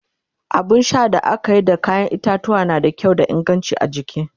abun Sha da akayi da kayan itatuwwa na da kyau da inganci a jiki